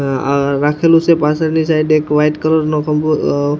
અ રાખેલું છે પાછળની સાઈડ એક વ્હાઇટ કલર નો પંખો અ --